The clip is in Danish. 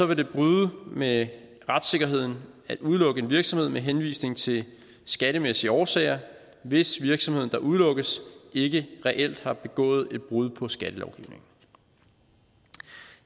det bryde med retssikkerheden at udelukke en virksomhed med henvisning til skattemæssige årsager hvis virksomheden der udelukkes ikke reelt har begået et brud på skattelovgivningen